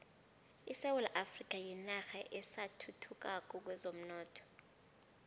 isewula afrika yinarha esathuthukako kwezomnotho